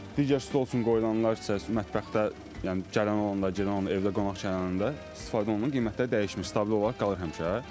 Digər stol üçün qoyulanlar isə mətbəxdə, yəni gələn olanda, gedən olanda, evdə qonaq gələn olanda istifadə olunur, qiymətlər dəyişmir, stabil olaraq qalır həmişə.